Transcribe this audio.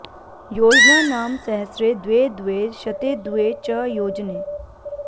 योजनानं सहस्रे द्वे द्वे शते द्वे च योजने